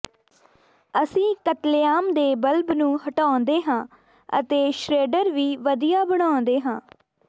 ਅਸੀਂ ਕਤਲੇਆਮ ਦੇ ਬਲਬ ਨੂੰ ਹਟਾਉਂਦੇ ਹਾਂ ਅਤੇ ਸ਼ਰੇਡਰ ਵੀ ਵਧੀਆ ਬਣਾਉਂਦੇ ਹਾਂ